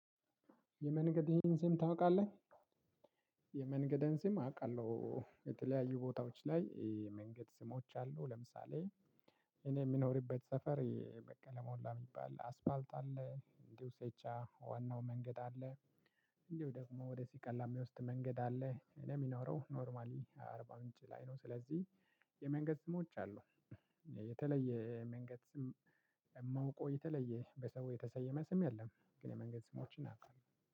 የመንገድ ይሄን ስም ታውቃለህ? የመንገድን ስም አውቃለሁ። የተለያዩ ቦታዎች ላይ መንገድ ስሞች አሉ። ለምሳሌ እኔ የምኖርበት ሰፈር በቃ ለመሞላ የሚባል አስፋልት አለ። እንዲሁ ሴቻ ዋናው መንገድ አለ። እንዲሁ ደግሞ ወደ ሲቀላሚ የሚወስድ መንገድ አለ። እኔ የሚኖረው ኖርማሊ አርባ ምንጭ ላይ ነው። ስለዚህ የመንገድ ስሞች አሉ። የተለየ መንገድ ስም እማውቆ የተለየ በሰው የተሰየመ ስም የለም። ግን የመንገድ ስሞችን አቃለሁ